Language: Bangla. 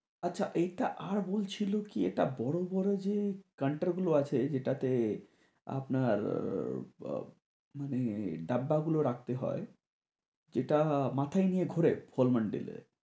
আচ্ছা এইটা আর বলছিলো কি এটা বড় বড় যে counter গুলো আছে যেটাতে আপনার মানে ডাব্বাগুলো রাখতে হয় যেটা মাথায় নিয়ে ঘুরে formal days এ